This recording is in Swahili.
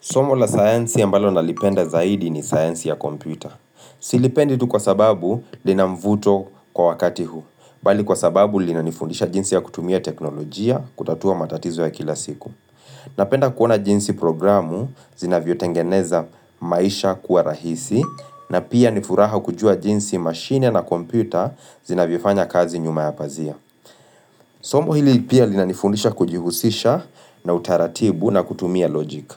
Somo la sayansi ambalo nalipenda zaidi ni sayansi ya kompyuta. Silipendi tu kwa sababu lina mvuto kwa wakati huu. Bali kwa sababu linanifundisha jinsi ya kutumia teknolojia kutatua matatizo ya kila siku. Napenda kuona jinsi programu zinavyo tengeneza maisha kuwa rahisi na pia nifuraha kujua jinsi mashine na kompyuta zinavyofanya kazi nyuma ya pazia. Somo hili pia linanifundisha kujihusisha na utaratibu na kutumia logic.